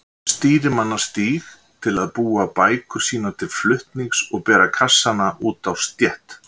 Stýrimannastíg til að búa bækur sínar til flutnings og bera kassana út á stétt.